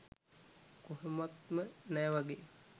කොහොමත්ම නෑ වගේ.